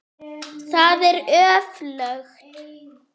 Það er öflugt.